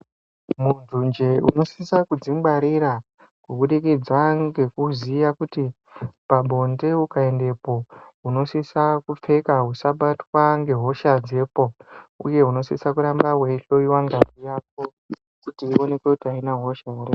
Munhu njee unosisa kudzingwarira kubudikidza ngekuziya kuti pabonde ukaendepo, unosisa kupfeka usabatwa ngehosha dzepo, uye unosisa kuramba weihloyiwa ngazi yako kuti ionekwe kuti haina hosha ere.